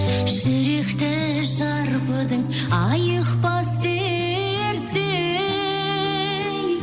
жүректі шарпыдың айықпас дерттей